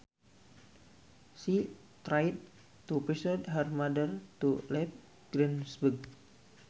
She tried to persuade her mother to leave Greensburg